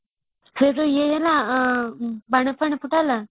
ସେ ଯୋଉ ନା ବାଣ ଫାଣ ଫୁଟା ହେଲା